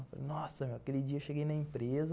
Eu falei, nossa, aquele dia eu cheguei na empresa,